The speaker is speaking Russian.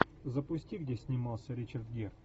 запусти где снимался ричард гир